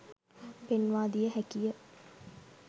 පෙන්වා දිය හැකිය